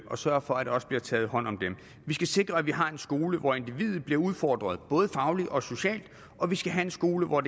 og sørge for at der også bliver taget hånd om dem vi skal sikre at vi har en skole hvor individet bliver udfordret både fagligt og socialt og vi skal have en skole hvor